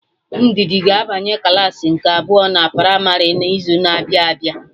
Ndidi ga-abanye klaasị nke abụọ na primarị na izu na-abịa abịa